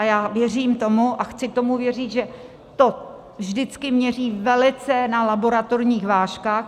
A já věřím tomu a chci tomu věřit, že to vždycky měří velice na laboratorních vážkách.